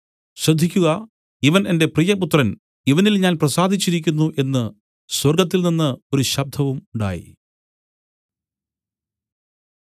ശ്രദ്ധിക്കുക ഇവൻ എന്റെ പ്രിയപുത്രൻ ഇവനിൽ ഞാൻ പ്രസാദിച്ചിരിക്കുന്നു എന്നു സ്വർഗ്ഗത്തിൽനിന്നു ഒരു ശബ്ദവും ഉണ്ടായി